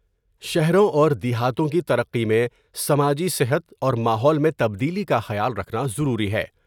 شہروں اور دیہاتوں کی ترقی میں سماجی صحت اور ماحول میں تبدیلی کا خیال رکھنا ضروری ہے ۔